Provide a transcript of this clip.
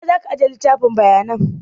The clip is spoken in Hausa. A ina za ka aje littafin bayanan?